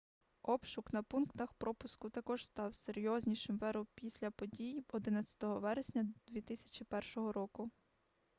обшук на пунктах пропуску також став серйознішим в еру після подій 11 вересня 2001 року